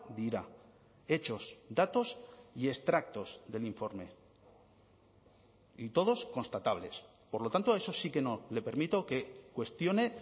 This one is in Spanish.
dira hechos datos y extractos del informe y todos constatables por lo tanto eso sí que no le permito que cuestione